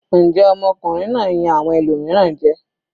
Njẹ́ ọmọkùnrin náà yan awọn ẹlòmíràn jẹ?